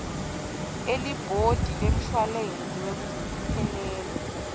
elibhodi lemshuwalensi wekuphelelwa